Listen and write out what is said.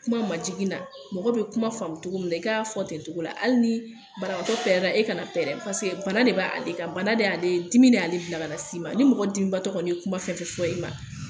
Kuma ma jigin na, mɔgɔ bɛ kuma faamu cogo min na i k'a fɔ o fɔ cogo la, hali ni banabatɔ pɛrɛnna e kana pɛrɛn paseke bana de b'a ale kan, bana de y'ale , dimi de y'a bila ka na s'i ma ni mɔgɔ dimibagatɔ kɔni ye kuma fɛn o fɛn fɔ i ma